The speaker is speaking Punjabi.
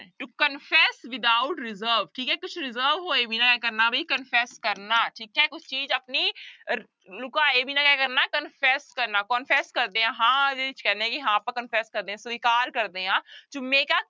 To confess without reserve ਠੀਕ ਹੈ ਕੁਛ reserve ਹੋਏ ਵੀ ਇਹ ਕਰਨਾ ਵੀ confess ਕਰਨਾ ਠੀਕ ਹੈ ਕੁਛ ਚੀਜ਼ ਆਪਣੀ ਰ ਲੁਕਾਏ ਬਿਨਾਂ ਕਿਆ ਕਰਨਾ confess ਕਰਨਾ confess ਕਰਦੇ ਆਂ ਹਾਂ ਜਿਹਦੇ ਚ ਕਹਿੰਦੇ ਆਂ ਕਿ ਹਾਂ ਆਪਾਂ confess ਕਰਦੇ ਹਾਂ ਸਵਿਕਾਰ ਕਰਦੇ ਹਾਂ to make a